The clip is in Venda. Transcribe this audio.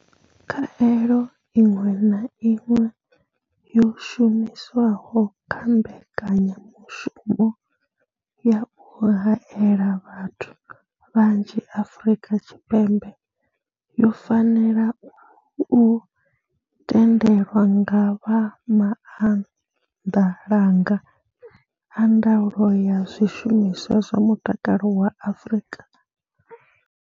Khaelo iṅwe na iṅwe yo shumiswaho kha mbekanyamushumo ya u haela vhathu vhanzhi Afrika Tshipembe yo fanela u tendelwa nga vha maanḓalanga a ndaulo ya zwishumiswa zwa mutakalo vha Afrika.